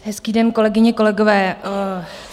Hezký den, kolegyně, kolegové.